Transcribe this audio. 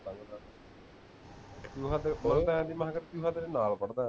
ਕਿ ਮੈਂ ਤੇਰੇ ਨਾਲ ਪੜ੍ਹਦਾ